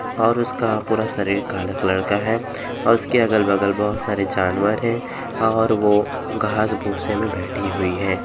और उसका पूरा शरीर काले कलर का है और उसके अगल -बगल बहुत सारे जानवर हैं और वो घास भूसे में बैठी हुई है।